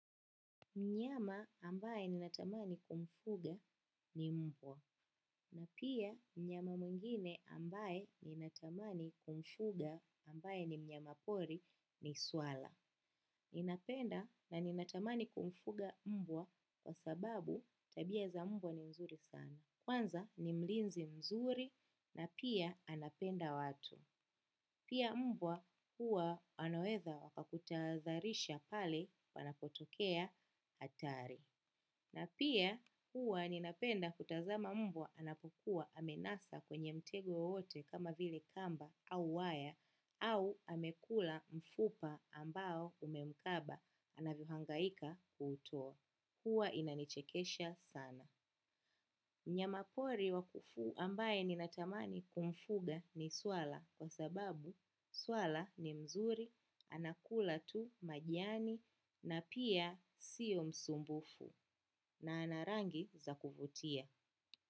Mnyama ambaye ninatamani kumfuga ni mbwa. Pia mnyama mwingine ambaye ninatamani kumfuga ambae ni mnyama pori ni swala. Ninapenda na ninatamani kumfuga mbwa kwa sababu tabia za mbwa ni nzuri sana. Kwanza ni mlinzi mzuri na pia anapenda watu. Pia mbwa huwa anaweza wakakutadhalisha pahali panapotokea hatari. Na pia huwa ninapenda kutazama mbwa anapokua amenasa kwenye mtego wowote kama vile kamba au waya au amekula mfupa ambao umemkaba anavyohangaika kutoa. Huwa inanichekesha sana. Mnyamapori wakufu ambaye ninatamani kumfuga ni swala kwa sababu swala ni mzuri, anakula tu majani na pia siyo msumbufu. Na ana rangi za kuvutia.